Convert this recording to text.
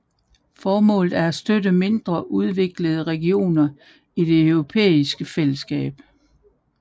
Formålet er at støtte mindre udviklede regioner i det europæiske fællesskab